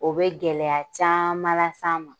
O be gɛlɛya caman las'an ma